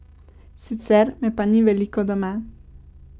Sicer me pa ni veliko doma.